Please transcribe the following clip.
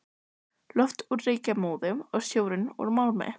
Loftið úr reykjarmóðu og sjórinn úr málmi.